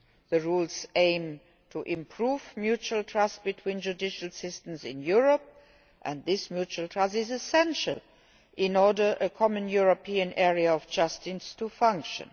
The rules aim to improve mutual trust between judicial systems in Europe, and this mutual trust is essential in order for a common European area of justice to function.